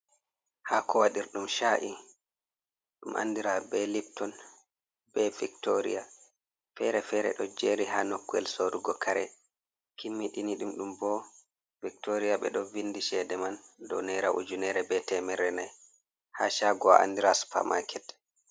Ha kowadirdum cha’i dum andira be lipton be viktoria fere-fere do jeri ha nokwel sorugo kare kimmiɗinidum dum bo victoria be do vindi chede man do nr btmr9 ha chagowa andira supher market